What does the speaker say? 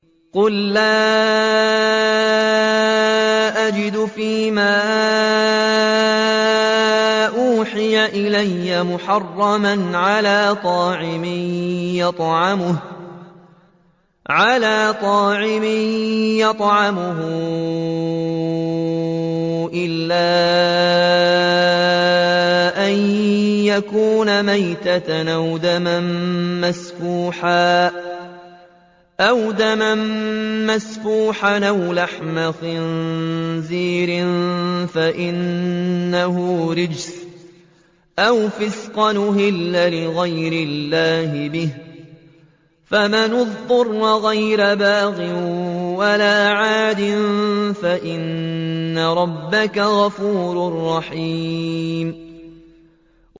قُل لَّا أَجِدُ فِي مَا أُوحِيَ إِلَيَّ مُحَرَّمًا عَلَىٰ طَاعِمٍ يَطْعَمُهُ إِلَّا أَن يَكُونَ مَيْتَةً أَوْ دَمًا مَّسْفُوحًا أَوْ لَحْمَ خِنزِيرٍ فَإِنَّهُ رِجْسٌ أَوْ فِسْقًا أُهِلَّ لِغَيْرِ اللَّهِ بِهِ ۚ فَمَنِ اضْطُرَّ غَيْرَ بَاغٍ وَلَا عَادٍ فَإِنَّ رَبَّكَ غَفُورٌ رَّحِيمٌ